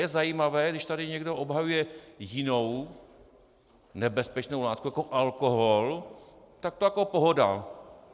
Je zajímavé, když tady někdo obhajuje jinou nebezpečnou látku jako alkohol, tak to je pohoda.